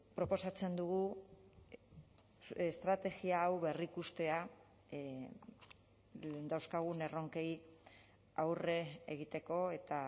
proposatzen dugu estrategia hau berrikustea dauzkagun erronkei aurre egiteko eta